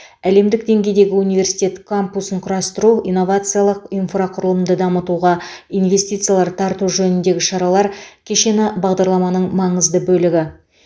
әлемдік деңгейдегі университет кампусын құру инновациялық инфрақұрылымды дамытуға инвестициялар тарту жөніндегі шаралар кешені бағдарламаның маңызды бөлігі